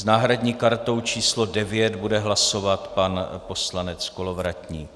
S náhradní kartou číslo 9 bude hlasovat pan poslanec Kolovratník.